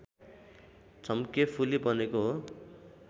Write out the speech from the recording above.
झम्केफुली बनेको हो